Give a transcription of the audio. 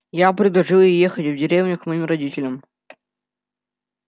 я предложил ей ехать в деревню к моим родителям